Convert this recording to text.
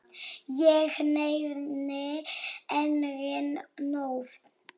Ég nefni engin nöfn.